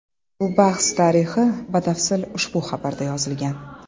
Bu bahs tarixi batafsil ushbu xabarda yozilgan.